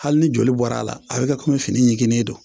Hali ni joli bɔra a la a bɛ ka komi fini ɲiginnen don